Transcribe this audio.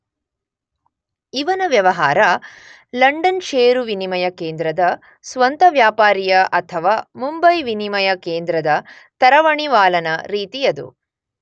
ಇವನ ವ್ಯವಹಾರ ಲಂಡನ್ ಷೇರು ವಿನಿಮಯ ಕೇಂದ್ರದ ಸ್ವಂತವ್ಯಾಪಾರಿಯ ಅಥವಾ ಮುಂಬೈ ವಿನಿಮಯ ಕೇಂದ್ರದ ತರವಣಿವಾಲನ ರೀತಿಯದು.